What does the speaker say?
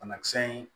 Banakisɛ in